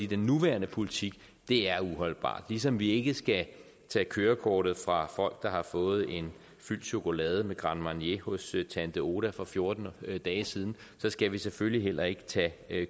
den nuværende politik er uholdbar ligesom vi ikke skal tage kørekortet fra folk der har fået en fyldt chokolade med grand marnier hos tante oda for fjorten dage siden skal vi selvfølgelig heller ikke tage